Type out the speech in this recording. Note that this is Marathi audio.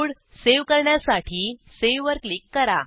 कोड सेव्ह करण्यासाठी Saveवर क्लिक करा